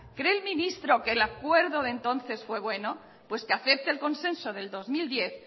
cree el ministro que el acuerdo de entonces fue bueno pues que acepte el consenso del dos mil diez